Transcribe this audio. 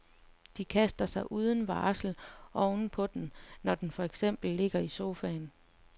De kaster sig uden varsel oven på den, når den for eksempel ligger i sofaen.